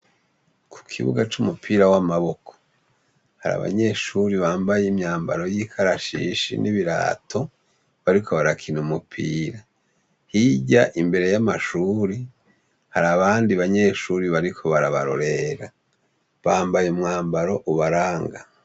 Ku kibuga cu umupira w'amaboko, hari abanyeshuri bambaye imyambaro y'ikarashishi n'ibirato bariko barakina umupira, hirya imbere y'amashuri hari abandi banyeshuri bariko barabarorera bambaye umwambaro ubaranga.